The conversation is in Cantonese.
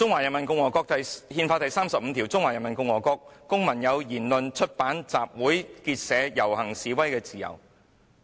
"《憲法》第三十五條訂明："中華人民共和國公民有言論、出版、集會、結社、遊行、示威的自由。